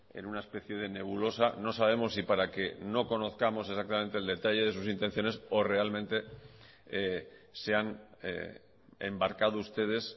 en una especie de nebulosa no sabemos si para que no conozcamos exactamente el detalle de sus intenciones o realmente se han embarcado ustedes